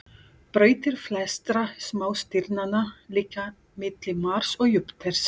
Brautir flestra smástirnanna liggja milli Mars og Júpíters.